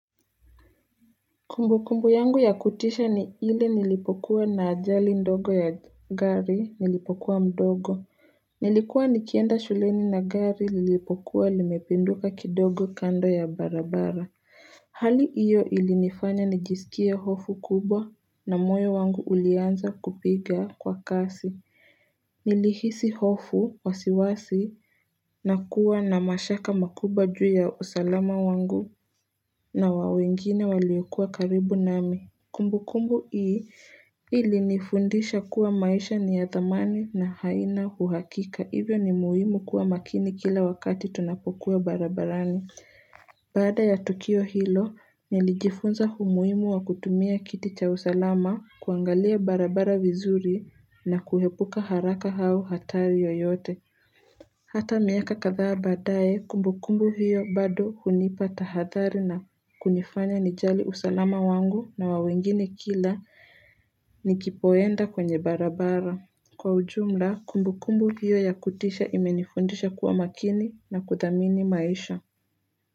Kumbukumbu yangu ya kutisha ni ile nilipokuwa na ajali ndogo ya gari nilipokuwa mdogo Nilikuwa nikienda shuleni na gari lilipokuwa limepinduka kidogo kando ya barabara Hali hiyo ilinifanya nijisikie hofu kubwa na moyo wangu ulianza kupiga kwa kasi Nilihisi hofu wasiwasi na kuwa na mashaka makubwa juu ya usalama wangu na wa wengine waliokuwa karibu nami. Kumbukumbu hii ilinifundisha kuwa maisha ni ya thamani na haina uhakika. Hivyo ni muhimu kuwa makini kila wakati tunapokuwa barabarani. Baada ya Tukio hilo, nilijifunza umuhimu wa kutumia kiti cha usalama kuangalia barabara vizuri na kuepuka haraka au hatari yoyote. Hata miaka kadhaa badae kumbukumbu hiyo bado hunipa tahadhari na kunifanya nijali usalama wangu na wa wengine kila nikipoenda kwenye barabara Kwa ujumla kumbukumbu hiyo ya kutisha imenifundisha kuwa makini na kuthamini maisha.